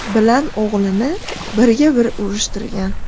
bilan o‘g‘lini birga-bir urushtirgan.